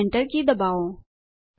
અને Enter key દબાવો